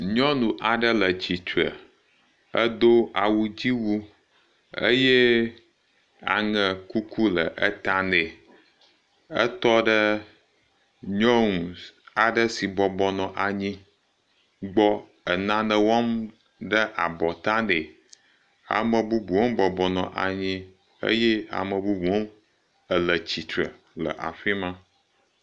Nyɔnu aɖe le tsitre. Edo awudziwu eye aŋe kuku le ta nɛ. Etɔ ɖe ɖe nyɔnu aɖe si bɔbɔ nɔ anyi gbɔ enane wɔm ɖe abɔta nɛ. Ame bubuwo hã bɔbɔ nɔ anyi eye ame bubuwo le atsitre le afi ma.